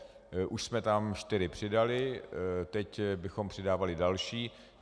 Už jsme tam čtyři přidali, teď bychom přidávali další.